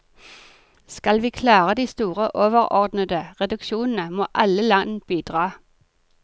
Skal vi klare de store overordnede reduksjonene, må alle land bidra.